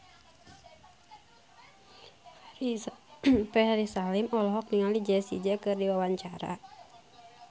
Ferry Salim olohok ningali Jessie J keur diwawancara